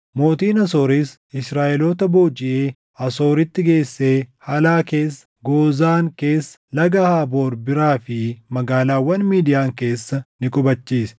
Mootiin Asooris Israaʼeloota boojiʼee Asooritti geessee Halaa keessa, Goozaan keessa, Laga Haaboor biraa fi magaalaawwan Midiyaan keessa ni qubachiise.